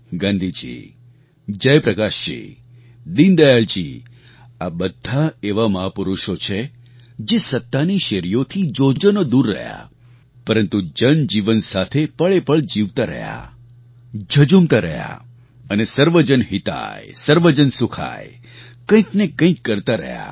ગાંધીજી જયપ્રકાશજી દીનદયાળજી આ બધા એવા મહાપુરુષો છે જે સત્તાની શેરીઓથી જોજનો દૂર રહ્યા પરંતુ જનજીવન સાથે પળેપળ જીવતા રહ્યા ઝઝૂમતા રહ્યા અને 'સર્વજન હિતાય સર્વજન સુખાય કંઈક ને કંઈક કરતા રહ્યા